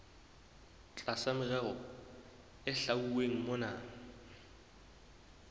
tlasa merero e hlwauweng mona